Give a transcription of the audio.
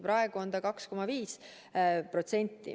Praegu on 2,5%.